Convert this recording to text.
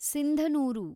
Sindhanur